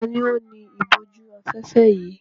Ta ni ó ni ìbòjú-afẹ́fẹ́ yìí?